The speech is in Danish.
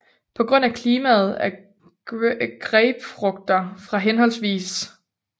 På grund af klimaet er grapefrugter fra hhv